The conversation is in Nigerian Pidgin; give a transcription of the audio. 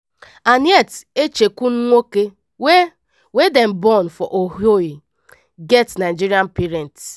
annette echikunwoke wey wey dem born for ohio get nigerian parents.